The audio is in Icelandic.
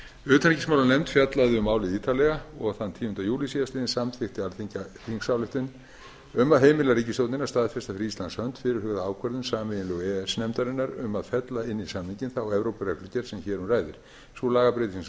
utanríkismálanefnd fjallaði ítarlega um málið og þann tíunda júlí síðastliðinn samþykkti alþingi þingsályktun um að heimila ríkisstjórninni að staðfesta fyrir íslands hönd fyrirhugaða ákvörðun sameiginlegu e e s nefndarinnar um að fella inn í samninginn þá evrópureglugerð sem hér um ræðir sú lagabreyting sem